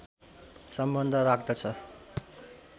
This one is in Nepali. सम्बन्ध राख्दछ